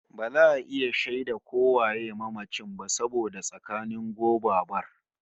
Ba za a iya shaida ko waye mamacin ba saboda tsananin gobabar